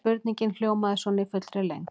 Spurningin hljómaði svona í fullri lengd: